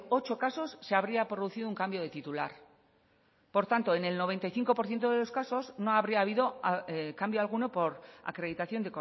ocho casos se habría producido un cambio de titular por tanto en el noventa y cinco por ciento de los casos no habría habido cambio alguno por acreditación